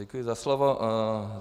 Děkuji za slovo.